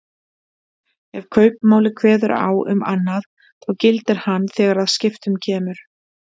Ef kaupmáli kveður á um annað þá gildir hann þegar að skiptum kemur.